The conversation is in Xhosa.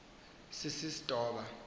sisistoba